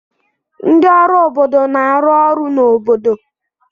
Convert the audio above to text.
Ndị ọrụ obodo na-arụ ọrụ n'obodo.